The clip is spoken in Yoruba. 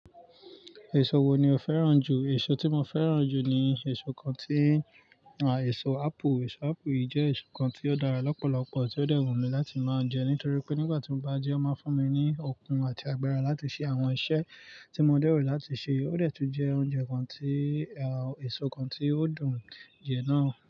Èso wo ni o fẹ́ràn jù? Èso tí mo fẹ́ràn jù ni èso kan tí, èso apple. Èso apple yìí jẹ́ èso kan tí ó dára lọ́pọ̀lọpọ̀, tí ó dẹ́ wùn mi láti máa ń jẹ nítorí pé nígbà tí mo bá jẹ́, ó máa ń fún mi ní okun àti agbára láti ṣe àwọn iṣẹ́ tí mo lè rò láti ṣe. Ó dẹ́ tún jẹ oúnjẹ kan tí, èso kan tí ó dùn jẹ náà.